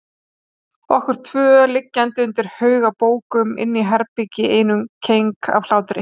Okkur tvö liggjandi undir haug af bókum inni í herbergi í einum keng af hlátri.